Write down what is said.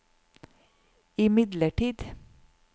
imidlertid